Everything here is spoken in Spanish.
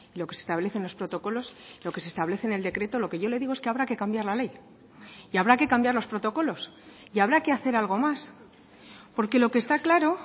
lo que se establece en los protocolos lo que se establece en el decreto lo que yo le digo es que habrá que cambiar la ley y habrá que cambiar los protocolos y habrá que hacer algo más porque lo que está claro